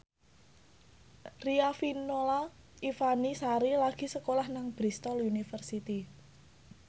Riafinola Ifani Sari lagi sekolah nang Bristol university